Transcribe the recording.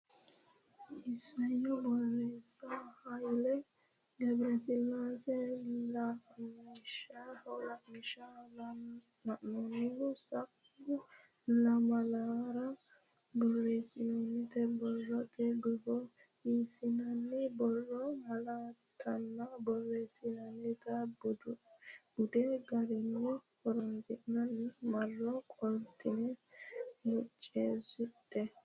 Isayyo Borreessa Hayle Gebresillaase Ilamishsha lainohunni sa u lame lamalara borreessitinita borrote guffa hasiissanno borrote malaattanna borreessate bude garunni horonsidhine marro qoltine muccisidhe.